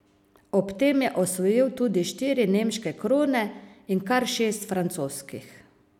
Ob tem je osvojil tudi štiri nemške krone in kar šest francoskih.